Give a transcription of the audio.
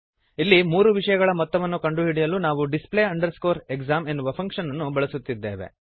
ಇಲ್ಲಿ ಮೂರು ವಿಷಯಗಳ ಮೊತ್ತವನ್ನು ಕಂಡುಹಿಡಿಯಲು ನಾವು display exam ಎನ್ನುವ ಫಂಕ್ಶನ್ ಅನ್ನು ಬಳಸುತ್ತಿದ್ದೇವೆ